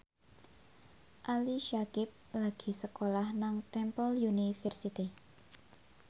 Ali Syakieb lagi sekolah nang Temple University